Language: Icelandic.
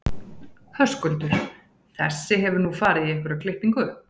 Höskuldur: Þessi hefur nú farið í einhverja klippingu?